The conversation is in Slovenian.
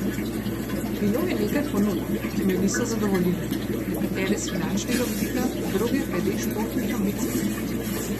Bilo je nekaj ponudb, ki me niso zadovoljile, nekatere s finančnega vidika, druge glede športnih ambicij.